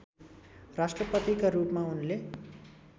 राष्ट्रपतिका रूपमा उनले